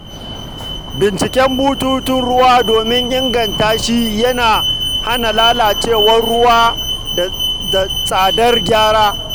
Binciken bututun ruwa domin inganta shi yana hana lalacewar ruwa da tsadar gyara.